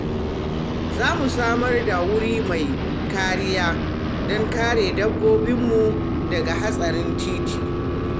Za mu samar da wuri mai kariya don kare dabbobinmu daga haɗarin titi.